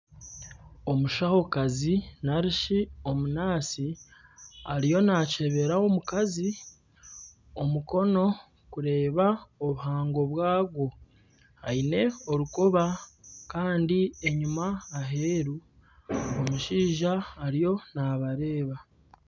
Omushahokazi ariyo nakyebera omukazi omukono kureeba obuhango bwagwo aine orukoba kandi enyima aheeru omushaija ariyo nabareeba.